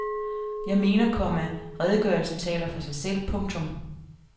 Jeg mener, komma redegørelsen taler for sig selv. punktum